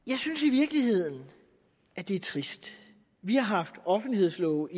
virkeligheden at det er trist vi har haft offentlighedslove